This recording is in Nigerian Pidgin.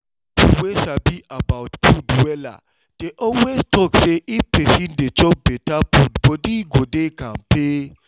people wey sabi about food wella dey always talk say if person dey chop better food body go dey kampe